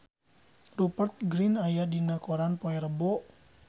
Rupert Grin aya dina koran poe Rebo